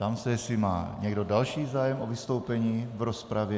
Ptám se, jestli má někdo další zájem o vystoupení v rozpravě.